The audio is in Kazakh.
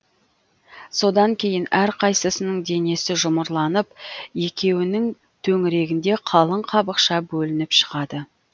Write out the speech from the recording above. содан кейін әрқайсысының денесі жұмырланып екеуінің төңірегінде қалың қабықша бөлініп шығады